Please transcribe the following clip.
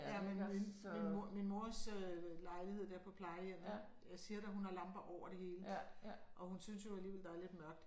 Ja min min min mor min mors øh lejlighed der på plejehjemmet jeg siger dig hun har lamper over det hele og hun synes jo alligevel der er lidt mørkt